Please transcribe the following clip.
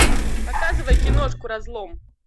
показывай киношку разлом